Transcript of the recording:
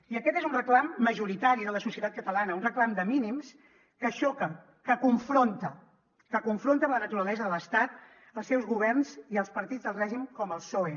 i aquest és un reclam majoritari de la societat catalana un reclam de mínims que xoca que confronta que confronta amb la naturalesa de l’estat els seus governs i els partits del règim com el psoe